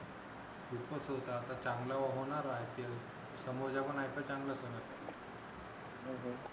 खूपच होत आता चांगला होणार आय पी एल समोरच पण आय पी एल चांगलच होणार मग काय